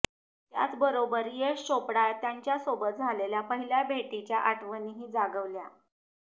त्याचबरोबर यश चोपडा यांच्यासोबत झालेल्या पहिल्या भेटीच्या आठवणीही जागवल्या